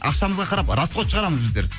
ақшамызға қарап расход шығарамыз біздер